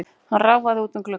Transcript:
Hann ráfaði út að glugganum.